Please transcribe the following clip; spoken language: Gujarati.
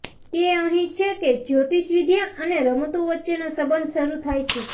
તે અહીં છે કે જ્યોતિષવિદ્યા અને રમતો વચ્ચેનો સંબંધ શરૂ થાય છે